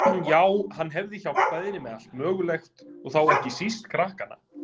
Já, hann hefði hjálpað henni með allt mögulegt, og þá ekki síst krakkana.